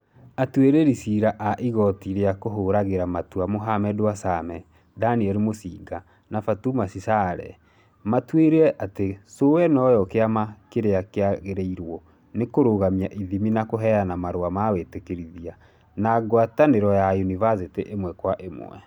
Atiirĩrĩri cira a igoti rĩa kũhũragĩra matua Mohammed Warsame, Daniel Musinga na Fatuma Sichale maatuire atĩ CũE noyo kĩama kĩiki kĩagĩrĩirwo nĩ kũrũgamia ithimi na kũheana marũa ma wĩtĩkĩrithia, na gwatanĩro na yunivacĩtĩ ĩmwe kwa ĩmwe.